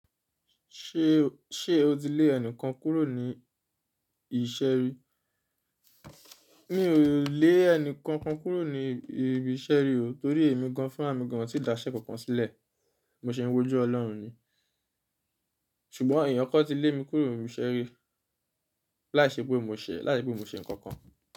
Ṣé o tí lé ẹnìkàn kúrò ní ìṣé rí? Mi ò lè ẹni kànkàn kúrò ní ibi ìṣeré o, tórí èmi gàn an fún rà mì gàn ó tí da iṣẹ́ kọ̀ọ̀kan sílẹ̀. Mo ṣe é wójú ọlọ́run ni. Ṣùgbọ́n èèyàn kaàn ti lé mi kúrò ní ìṣè rí láìṣe pé mó ṣe nǹkàn kàn.